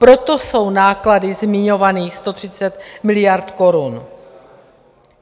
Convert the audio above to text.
Proto jsou náklady zmiňovaných 130 miliard korun.